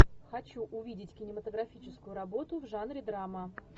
хочу увидеть кинематографическую работу в жанре драма